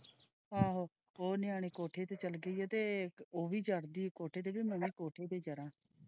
ਆਹੋ ਉਹ ਨਿਆਣੇ ਕੋਠੇ ਤੇ ਚੱਲੇ ਗਏ ਸੀ ਤੇ ਉਹ ਵੀ ਚੜ੍ਹਦੀ ਕੋਠੇ ਤੇ ਮੈਂ ਵੀ ਕੋਠੇ ਤੇ ਚੜਾ।